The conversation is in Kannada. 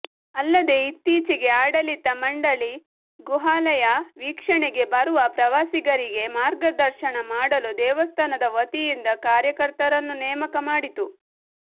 ಅಲ್ಲದೆ ಇತ್ತೀಚೆಗೆ ಆಡಳಿತ ಮಂಡಳಿ ಗುಹಾಲಯ ವೀಕ್ಷಣೆಗೆ ಬರುವ ಪ್ರವಾಸಿಗರಿಗೆ ಮಾರ್ಗದರ್ಶನ ಮಾಡಲು ದೇವಸ್ಥಾನದ ವತಿಯಿಂದ ಕಾರ್ಯಕರ್ತರನ್ನು ನೇಮಕ ಮಾಡಿತು